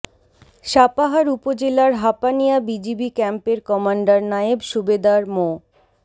সাপাহার উপজেলার হাপানিয়া বিজিবি ক্যাম্পের কমান্ডার নায়েব সুবেদার মো